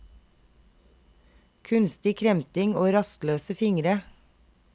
Kunstig kremting og rastløse fingre.